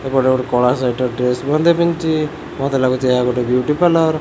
ଏପଟେ ଗୋଟେ କଳା ସାଇଟ୍ ର ଡ୍ରେସ ମଧ୍ୟ ପିନ୍ଧିଚି ମୋତେ ଲାଗୁଚି ଏହା ଗୋଟେ ବିୟୁଟି ପାର୍ଲର ।